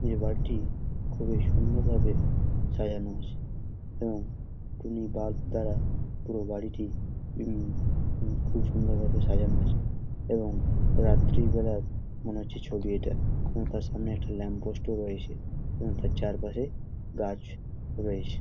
এবাড়িটি খুবই সুন্দর ভাবে সাজানো আছে এবং টুনি বালব দ্বারা পুরো বাড়িটি উমম খুব সুন্দর ভাবে সাজানো আছে এবং রাত্রিবেলায় মনে হচ্ছে ছবি ইটা কারণ তার সামনে একটি লাম্প পোস্ট ও রয়েছে তার চারপাশে গাছ রয়েছে ।